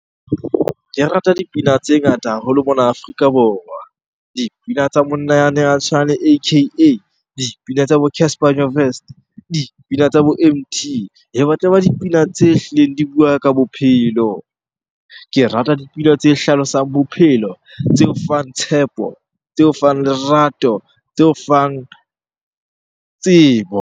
Ke rata dipina tse ngata haholo mona Afrika Borwa. Dipina tsa monna yane a tshwanang le A_K_A le dipina tsa bo Casper Nyovest, dipina tsa bo Emtee. E batla e ba dipina tse hlileng di bua ka bophelo. Ke rata dipina tse hlalosang bophelo, tse o fang tshepo, tse o fang lerato, tse o fang tsebo.